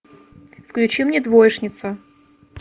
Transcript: включи мне двоишница